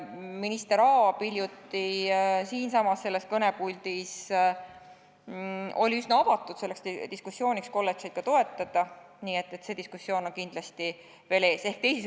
Minister Aab oli hiljuti siinsamas kõnepuldis üsna avatud selleks diskussiooniks, et kolledžeid ka toetada, nii et see diskussioon on kindlasti veel ees.